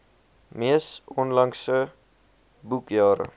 mees onlangse boekjare